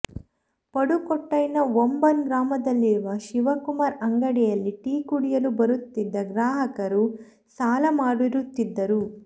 ಪಡುಕೊಟ್ಟಾಯ್ನ ವಂಬನ್ ಗ್ರಾಮದಲ್ಲಿರುವ ಶಿವಕುಮಾರ್ ಅಂಗಡಿಯಲ್ಲಿ ಟೀ ಕುಡಿಯಲು ಬರುತ್ತಿದ್ದ ಗ್ರಾಹಕರು ಸಾಲ ಮಾಡಿರುತ್ತಿದ್ದರು